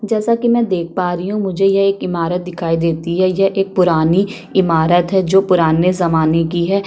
जैसे कि मैं यहाँ पर देख पा रही हूँ मुझे यह इमारत दिखाई देती है पुरानी इमारत है जो कि पुराने जमाने की है।